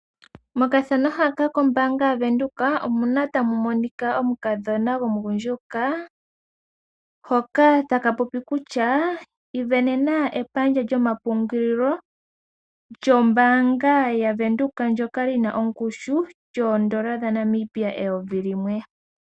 Mokathano haka kombanga yaVenduka omuna tamu monika omukadhona gomugundjuka. Hoka taka popi kutya ivenena ehala lyomapungulilo lyombanga yaVenduka ndjoka lina oongushu yoodollar dhaNamibia eyovi limwe.